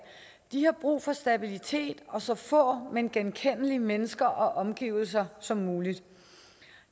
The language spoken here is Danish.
de har brug for stabilitet og så få men genkendelige mennesker og omgivelser som muligt